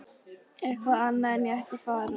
Eitthvað annað en að ég ætti að fara.